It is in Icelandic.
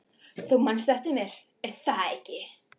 Þú manst eftir mér, er það ekki?